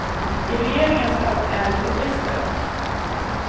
I regeringens ögon är de terrorister.